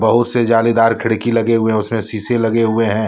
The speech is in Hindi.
बहुत से जालीदार खिड़की लगे हुए हैं उसमें शीशे लगे हुए हैं।